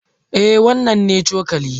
Eh, wannan ne cokali.